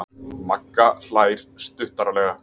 Magga hlær stuttaralega.